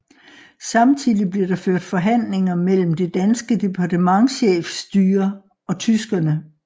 Samtidig blev der ført forhandlinger mellem det danske departementchefstyre og tyskerne